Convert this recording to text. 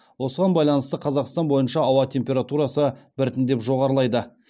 осыған байланысты қазақстан бойынша ауа температурасы біртіндеп жоғарылайды